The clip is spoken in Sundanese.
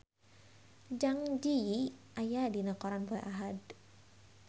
Zang Zi Yi aya dina koran poe Ahad